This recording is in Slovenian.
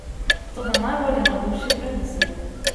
Toda najbolj je navdušil preddesert!